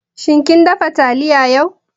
Shin kin dafa taliya yau?